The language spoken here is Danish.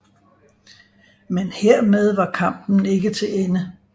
Men hermed var kampen ikke til ende